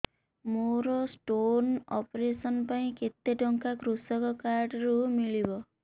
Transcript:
ମୋର stone operation ପାଇଁ କେତେ ଟଙ୍କା କୃଷକ କାର୍ଡ ରୁ ମିଳିବ